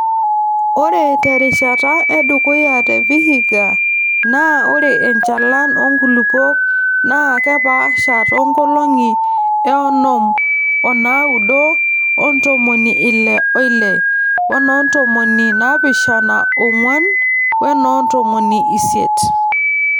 Ore te rishata edukuya te Vihiga naa ore enchalan oonkulupuok naa kepaasha te nkolong eonom onaaudo o ntomoni Ile oile wene ntomoni naapishana oong'wan wenoo ntomoni isiet.